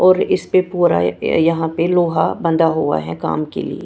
और इस पे पूरा यहां पे लोहा बंधा हुआ है काम के लिए।